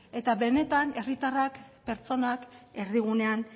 eta benetan herritarrak pertsonak erdigunean